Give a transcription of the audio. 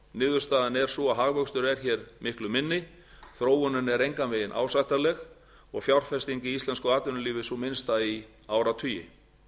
niðurstaðan er sú að hagvöxtur er hér miklu minni þróunin er engan veginn ásættanleg og fjárfesting í íslensku atvinnulífi er sú minnsta í áratugi